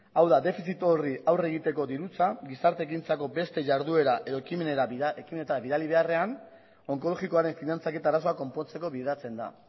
hau da defizit horri aurre egiteko dirutza gizarte ekintzako beste jarduera edo ekimenetara bidali beharrean onkologikoaren finantzaketa arazoa konpontzeko bideratzen da